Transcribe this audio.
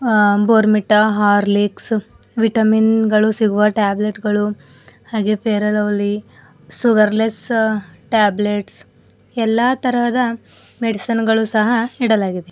ಆ Bournvita Horlicks vitamin ಗಳು ಸಿಗುವ ಟ್ಯಾಬ್ಲೆಟ್ ಗಳು ಹಾಗೆ ಫೇರ್ ಎ ಲವ್ಲೀ ಶುಗರ್ ಲೆಸ್ ಟ್ಯಾಬ್ಲೆಟ್ಸ್ ಎಲ್ಲಾ ತರಹದ ಮೆಡಿಸನ್ ಗಳು ಸಹ ಇಡಲಾಗಿದೆ.